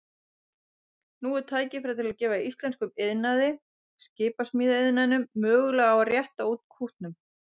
Nú er tækifæri til að gefa íslenskum iðnaði, skipasmíðaiðnaðinum, möguleika á að rétta úr kútnum.